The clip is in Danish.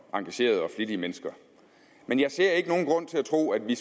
engagerede og flittige mennesker men jeg ser ikke nogen grund til at tro at vi